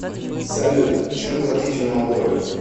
салют чем платить в молдове